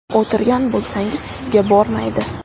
O‘tirgan bo‘lsangiz, sizga bormaydi.